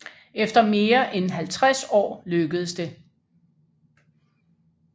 Efter mere end halvtreds år lykkedes det